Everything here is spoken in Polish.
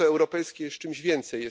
Miasto europejskie jest czymś więcej.